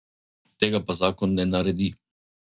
Tega pa zakon ne naredi.